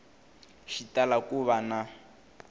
xi tala ku va na